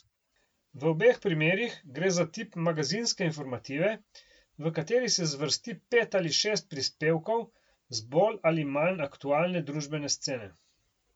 V obeh primerih gre za tip magazinske informative, v kateri se zvrsti pet ali šest prispevkov z bolj ali manj aktualne družbene scene.